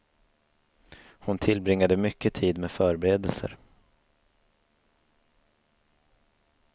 Hon tillbringade mycket tid med förberedelser.